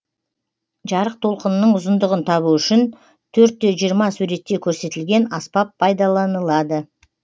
жарық толқынының ұзындығын табу үшін төрт те жиырма суретте көрсетілген аспап пайдаланылады